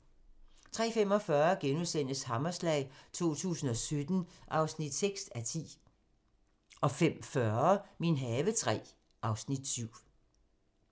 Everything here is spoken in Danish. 03:45: Hammerslag 2017 (6:10)* 05:40: Min have III (Afs. 7)